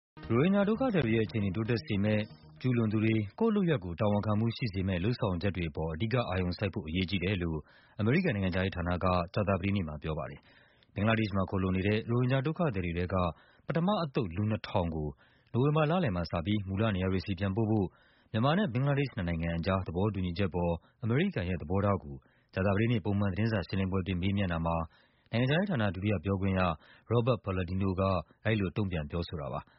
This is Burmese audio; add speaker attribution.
Speaker 1: ရိုဟင်ဂျာဒုက္ခသည်တွေရဲ့ အခြေအနေ တိုးတက်စေမယ့်၊ ကျူးလွန်သူတွေ ကိုယ့်လုပ်ရပ်ကိုယ် တာဝန်ခံမှုရှိစေမယ့် လုပ်ဆောင် ချက်တွေအပေါ် အဓိကအာရုံစိုက်ဖို့ အရေးကြီးတယ်လို့ အမေရိကန်နိုင်ငံခြားရေးဌာနက ပြောပါတယ်။ ဘင်္ဂလားဒေ့ရှ်မှာ ခိုလှုံနေတဲ့ ရိုဟင်ဂျာဒုက္ခသည်တွေထဲက ပထမအသုတ် လူ ၂,၀၀၀ ကို နိုဝင်ဘာလလယ်မှာစပြီး မူလနေရာ တွေဆီ ပြန်ပို့ဖို့ မြန်မာနဲ့ ဘင်္ဂလားဒေ့ရှ် နှစ်နိုင်ငံအကြား သဘောတူညီချက်အပေါ် အမေရိကန်ရဲ့သဘောထားကို ကြာသပတေး နေ့ သတင်းစာရှင်းလင်းပွဲအတွင်း မေးမြန်းတာမှာ နိုင်ငံခြားရေးဌာန ဒုတိယပြောခွင့်ရ Robert Palladino က အဲဒီလို တုံ့ပြန် ဖြေဆိုတာပါ။